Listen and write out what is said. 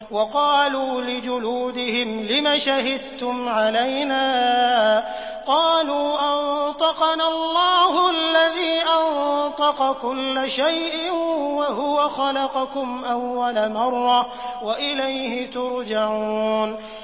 وَقَالُوا لِجُلُودِهِمْ لِمَ شَهِدتُّمْ عَلَيْنَا ۖ قَالُوا أَنطَقَنَا اللَّهُ الَّذِي أَنطَقَ كُلَّ شَيْءٍ وَهُوَ خَلَقَكُمْ أَوَّلَ مَرَّةٍ وَإِلَيْهِ تُرْجَعُونَ